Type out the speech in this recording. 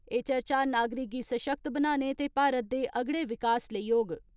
एह् चर्चा नागरिक गी सशक्त बनाने ते भारत दे अगड़े विकास लेई होग।